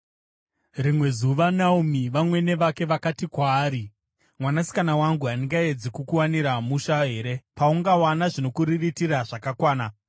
Rimwe zuva Naomi, vamwene vake vakati kwaari, “Mwanasikana wangu, handingaedzi kukuwanira musha here, paungawana zvinokuriritira zvakakwana?